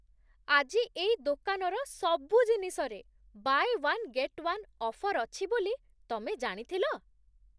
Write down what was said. ଆଜି ଏଇ ଦୋକାନର ସବୁ ଜିନିଷରେ 'buy one get one' offer ଅଛି ବୋଲି ତମେ ଜାଣିଥିଲ?